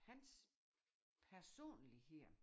Hans personlighed